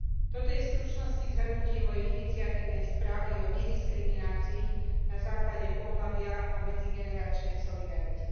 Toto je v stručnosti zhrnutie mojej iniciatívnej správy o nediskriminácii na základe pohlavia a medzigeneračnej solidarite.